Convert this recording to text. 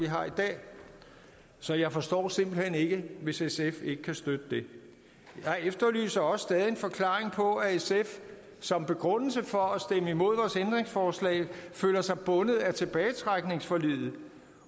har i dag så jeg forstår simpelt hen ikke hvis sf ikke kan støtte det jeg efterlyser også stadig en forklaring på at sf som begrundelse for at stemme imod vores ændringsforslag føler sig bundet af tilbagetrækningsforliget